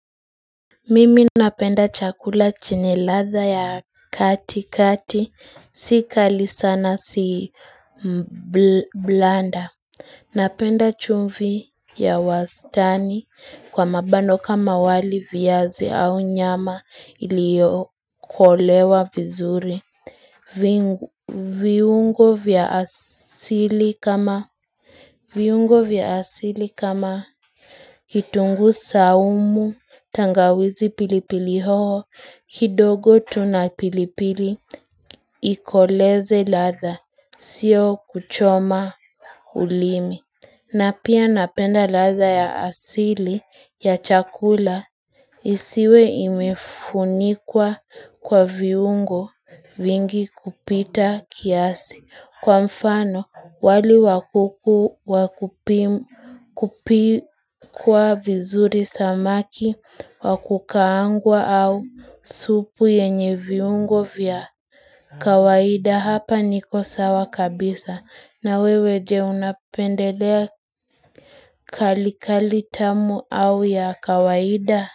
Mimi napenda chakula cheniladha ya kati kati, sika lisana si blanda Napenda chumvi ya wastani kwa mabano kama waliviyazi au nyama iliokolewa vizuri viungo vya asili kama viungo viasili kama kitungu saumu, tangawizi pilipili hoho, kidogo tuna pilipili, ikoleze ladha, sio kuchoma ulimi. Na pia napenda ladha ya asili ya chakula isiwe imefunikwa kwa viungo vingi kupita kiasi kwa mfano wali wakukuwa kupi kwa vizuri samaki wakukaangwa au supu yenye viungo vya kawaida hapa niko sawa kabisa na weweje unapendelea kali kali tamu au ya kawaida?